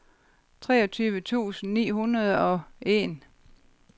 treogtyve tusind ni hundrede og en